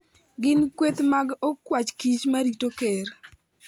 Gin kweth mag okwach kich marito ker.